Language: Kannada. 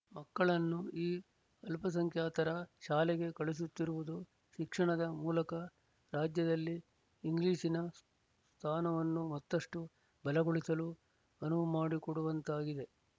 ಮಕ್ಕಳನ್ನು ಈ ಅಲ್ಪಸಂಖ್ಯಾತರ ಶಾಲೆಗೆ ಕಳುಹಿಸುತ್ತಿರುವುದು ಶಿಕ್ಷಣದ ಮೂಲಕ ರಾಜ್ಯದಲ್ಲಿ ಇಂಗ್ಲೀಶಿನ ಸ್ಥಾನವನ್ನು ಮತ್ತಷ್ಟು ಬಲಗೊಳಿಸಲು ಅನುವುಮಾಡಿಕೊಡುವಂತಾಗಿದೆ